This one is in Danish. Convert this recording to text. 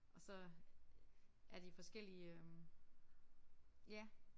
Og så er de forskellige øh ja